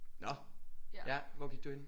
Nå ja hvor gik du henne